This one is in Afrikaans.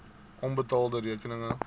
onbetaalde rekeninge